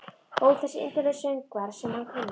Ó þessir indælu söngvar sem hann kunni.